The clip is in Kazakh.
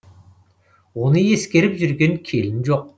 оны ескеріп жүрген келін жоқ